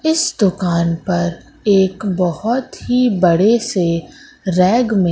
इस दुकान पर एक बहुत ही बड़े से रैक में --